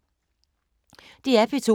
DR P2